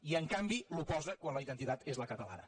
i en canvi l’oposa quan la identitat és la catalana